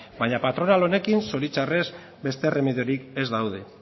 baina patronal honekin zoritxarrez beste erremediorik ez daude